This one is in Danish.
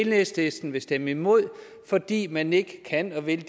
enhedslisten vil stemme imod fordi man ikke kan og vil